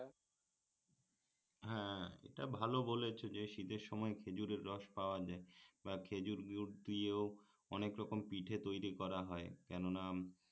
হ্যাঁ এটা ভাল বলেছ যে শীতের সময় খেজুরের রস পাওয়া যায় বা খেজুর গুড় দিয়েও অনেক রকম পিঠা তৈরী করা হয় কেননা